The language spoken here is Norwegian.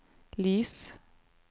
lys